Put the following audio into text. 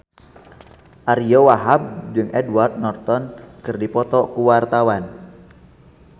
Ariyo Wahab jeung Edward Norton keur dipoto ku wartawan